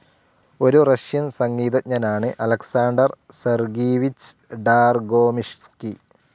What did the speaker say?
ഒരു റഷ്യൻ സംഗീതജ്ഞനാണ് Alexander Sergeyevich Dargomyzhsky.